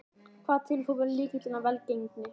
Hvað telur þú vera lykilinn að velgengninni?